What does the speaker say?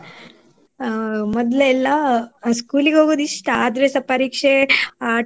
ಅಹ್ ಮೊದ್ಲೆಲ್ಲ school ಗ್ ಹೋಗುದು ಇಷ್ಟ ಆದ್ರೆಸ ಪರೀಕ್ಷೆ ಅಹ್ time